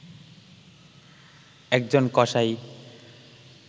একজন কসাই